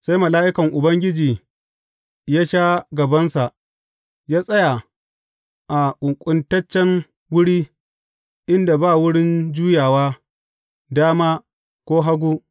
Sai mala’ikan Ubangiji ya sha gabansa, ya tsaya a ƙunƙuntaccen wuri inda ba wurin juyawa dama ko hagu.